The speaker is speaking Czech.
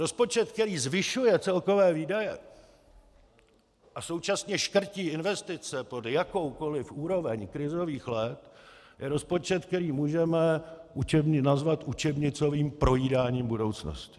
Rozpočet, který zvyšuje celkové výdaje a současně škrtí investice pod jakoukoliv úroveň krizových let, je rozpočet, který můžeme nazvat učebnicovým projídáním budoucnosti.